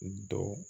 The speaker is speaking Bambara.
Don